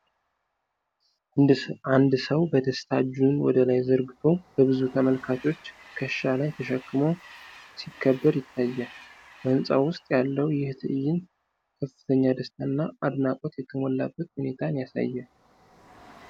አንድ ሰው በደስታ እጁን ወደ ላይ ዘርግቶ በብዙ ተመልካቾች ትከሻ ላይ ተሸክሞ ሲከበር ይታያል። በህንጻ ውስጥ ያለው ይህ ትዕይንት ከፍተኛ ደስታ እና አድናቆት የተሞላበት ሁኔታን ያሳያል።